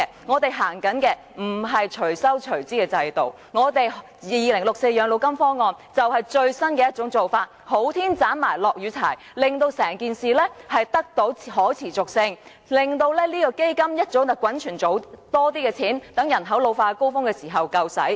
我們實行的不是"隨收隨支"的制度 ，2064 全民養老金方案，就是最新的做法，"好天斬埋落雨柴"，令退休保障可持續運作，令基金早點滾存更多錢，待人口老化高峰時足夠使用。